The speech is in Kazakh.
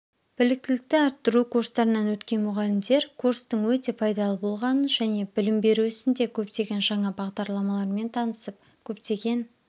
біліктілікті арттыру курстарынан өткен мұғалімдер курстың өте пайдалы болғанын және білім беру ісінде көптеген жаңа бағдарламалармен танысып көптеген